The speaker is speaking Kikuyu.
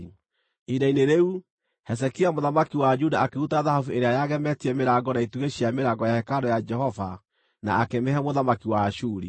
Ihinda-inĩ rĩu, Hezekia mũthamaki wa Juda akĩruta thahabu ĩrĩa yagemetie mĩrango na itugĩ cia mĩrango ya hekarũ ya Jehova na akĩmĩhe mũthamaki wa Ashuri.